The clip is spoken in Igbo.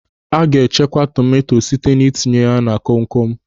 A ga-echekwa tomanto site na itinye ya na kom kom.